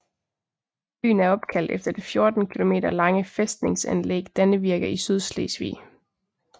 Byen er opkaldt efter det 14 km lange fæstningsanlæg Dannevirke i Sydslesvig